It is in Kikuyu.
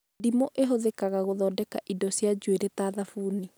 Ndimũ ĩhũthĩkaga gũthondeka indo cia njuĩrĩ ta thabuni